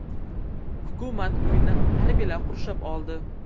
Hukumat uyini harbiylar qurshab oldi.